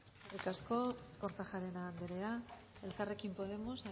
alde eskerrik asko kortajarena anderea elkarrekin podemos